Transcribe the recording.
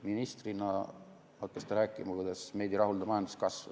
Ministrina hakkas ta rääkima, kuidas meid ei rahulda majanduskasv.